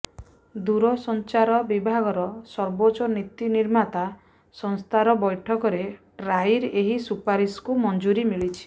ଦୂରସଂଚାର ବିଭାଗର ସର୍ବୋଚ୍ଚ ନୀତି ନିର୍ମାତା ସଂସ୍ଥାର ବୈଠକରେ ଟ୍ରାଇର ଏହି ସୁପାରିଶକୁ ମଂଜୁରୀ ମିଳିଛି